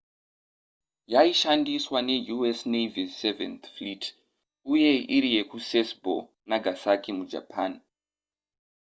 yaishandiswa neu.s navy's seventh fleet uye iri yekusasebo nagasaki mujapan